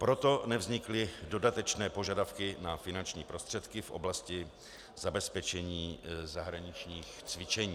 Proto nevznikly dodatečné požadavky na finanční prostředky v oblasti zabezpečení zahraničních cvičení.